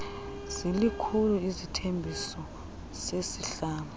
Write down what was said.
zilikhulu isithembiso sesihlanu